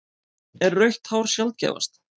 Er rautt hár sjaldgæfast?